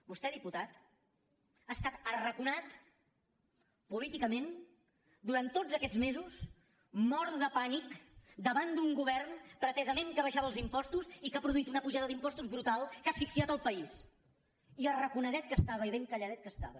vostè diputat ha estat arraconat políticament durant tots aquests mesos mort de pànic davant d’un govern que pretesament abaixava els impostos i que ha produït una pujada d’impostos brutal que ha asfixiat el país i arraconadet que estava i ben calladet que estava